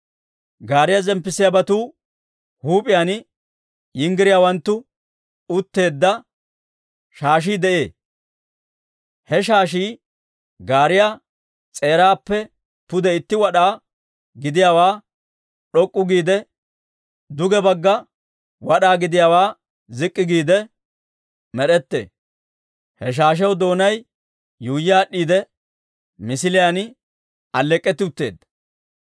Gaariyaa zemppissiyaabatuu huup'iyaan yinggiriyaawanttu utteedda shaashii de'ee; he shaashii gaariyaa s'eeraappe pude itti wad'aa gidiyaawaa d'ok'k'u giide, duge bagga wad'aa gidiyaawaa zik'k'i giide med'ettee. He shaashiyaw doonay yuuyyi aad'd'iide misiliyaan alleek'k'etti utteedda.